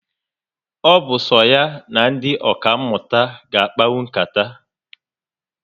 O bu so ya na ndị ọka mụta ga akpanwu nkata